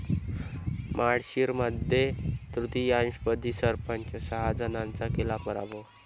माळशिरसमध्ये तृतीयपंथी सरपंच, सहा जणांचा केला पराभव